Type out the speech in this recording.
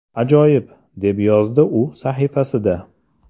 Ajoyib”, deb yozdi u sahifasida.